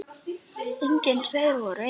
Engir tveir voru eins.